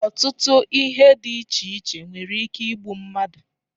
Ọtụtụ ihe dị iche iche nwere ike igbu mmadụ